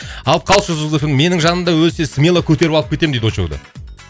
алып қалшы жұлдыз эф эм менің жанымда өлсе смело көтеріп алып кетемін дейді очоуды